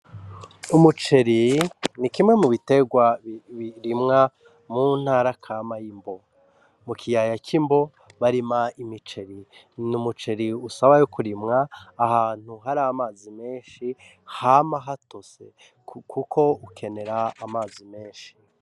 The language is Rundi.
Umuceri ni kimwe mu biterwa birimwa mu ntara kama y'imbo mu kiyaya c'imbo barima imiceri n'umuceri usaba kurimwa ahantu hari amazi meshi hama hatose kuko ukenera amazi meshi.